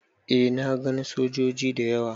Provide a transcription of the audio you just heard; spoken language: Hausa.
Eh na gan sojoji da yawa.